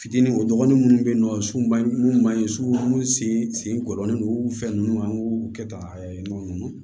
Fitini o dɔgɔnin minnu bɛ yen nɔ sunba mun b'a ye su minnu sen sen gɔɔnen don fɛn nunnu an k'u kɛ tan ɲima